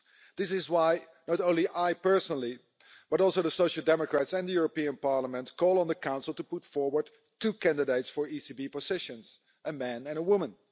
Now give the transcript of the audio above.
This is why, not only I personally, but also the Social Democrats and the European Parliament call on the Council to put forward two candidates for ECB positions a man and a woman.